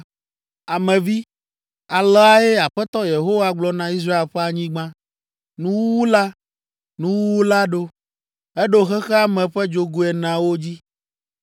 “Ame vi, aleae Aƒetɔ Yehowa gblɔ na Israel ƒe anyigba: “ ‘Nuwuwu la! Nuwuwu la ɖo eɖo xexea me ƒe dzogoe eneawo dzi!